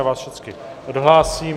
Já vás všechny odhlásím.